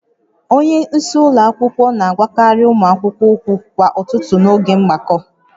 Onye isi ụlọ akwụkwọ na-agwakarị ụmụ akwụkwọ okwu kwa ụtụtụ n'oge mgbakọ